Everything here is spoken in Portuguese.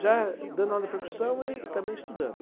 Já dando aula de percussão e também estudando.